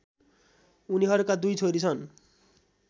उनीहरूका दुई छोरी छन्